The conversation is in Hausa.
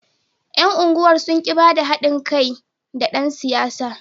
Yan unguwar sun ki ba da hadin kai da dan siyasar.